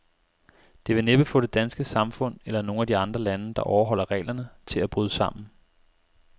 Det vil næppe få det danske samfund, eller nogen af de andre lande, der overholder reglerne, til at bryde sammen.